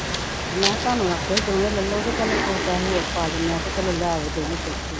ਮੈਂ ਕਿਹਾ ਤੁਹਾਨੂੰ ਆਖਿਆ ਸੀ ਦੋਵੇਂ ਲੈ ਲਓ ਚੱਲ ਪੈਸੇ ਹੋਰ ਪਾ ਕੇ ਮੈਂ ਕਿਹਾ ਚਲੋ ਲੈ ਆਵੋ ਦੋਵੇਂ ਚੁੱਕ ਕੇ